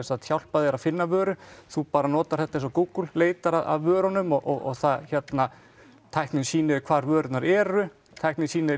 hjálpað þér að finna vöru þú bara notar þetta eins og Google leitar að vörunum og tæknin sýnir þér hvar vörurnar eru tæknin sýnir